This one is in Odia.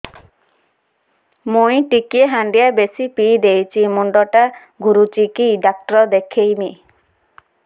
ମୁଇ ଟିକେ ହାଣ୍ଡିଆ ବେଶି ପିଇ ଦେଇଛି ମୁଣ୍ଡ ଟା ଘୁରୁଚି କି ଡାକ୍ତର ଦେଖେଇମି